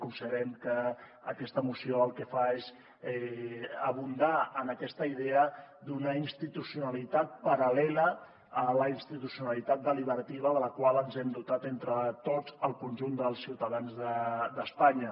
considerem que aquesta moció el que fa és abundar en aquesta idea d’una institucionalitat paral·lela a la institu cionalitat deliberativa de la qual ens hem dotat entre tots el conjunt dels ciutadans d’espanya